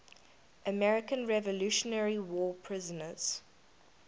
american revolutionary war prisoners